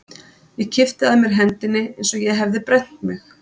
Ég kippti að mér hendinni eins og ég hefði brennt mig.